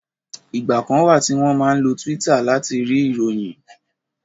Ìgbà kan wà tí wọ́n máa ń lo Twitter láti rí ìròyìn